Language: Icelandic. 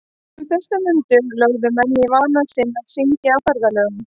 Um þessar mundir lögðu menn í vana sinn að syngja á ferðalögum.